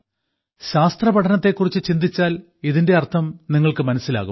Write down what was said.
ശാസ്ത്രപഠനത്തെ കുറിച്ച് ചിന്തിച്ചാൽ ഇതിന്റെ അർത്ഥം നിങ്ങൾക്ക് മനസ്സിലാകും